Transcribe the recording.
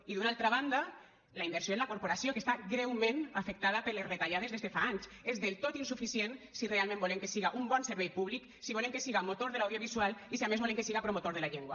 i d’una altra banda la inversió en la corporació que està greument afectada per les retallades des de fa anys és del tot insuficient si realment volem que siga un bon servei públic si volem que siga motor de l’audiovisual i si a més volem que siga promotor de la llengua